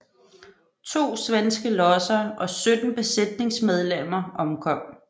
To svenske lodser og sytten besætningsmedlemmer omkom